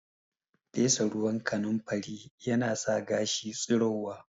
Fesa ruwan kanunfari yana sa gashi tsirowa